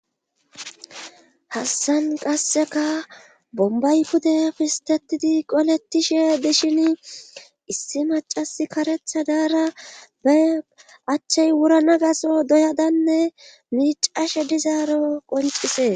hassan qasseka bombay kude pistetidi qoletishe dishin issi macas karetha daara be achchay wurana gaso doyadanne miicashe dizaaro qoncisees